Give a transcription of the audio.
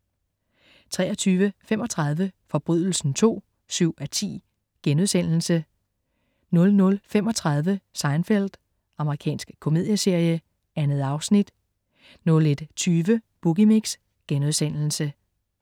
23.35 Forbrydelsen II 7:10* 00.35 Seinfeld. Amerikansk komedieserie. 2 afsnit 01.20 Boogie Mix*